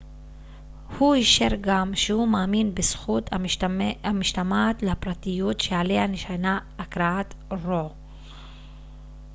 הוא אישר גם שהוא מאמין בזכות המשתמעת לפרטיות שעליה נשענה הכרעת רו